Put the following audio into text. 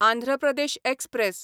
Andhra Pradesh express